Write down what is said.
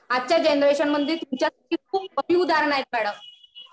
आजच्या जनरेशन मध्ये तुमच्यासारखी खूप कमी उदाहरणं आहेत मॅडम.